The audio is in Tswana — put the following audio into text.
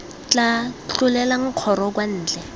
tla tlolelang kgoro kwa ntle